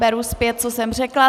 Beru zpět, co jsem řekla.